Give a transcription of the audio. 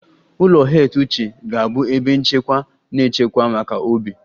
Ụlọ heath uche ga-abụ ebe nchekwa na nchekwa maka Obi